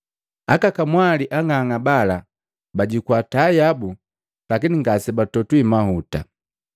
Aka kamwali ang'ang'a bala bajukua taa yabu, lakini ngasebatogwi mahuta.